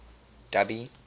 dubby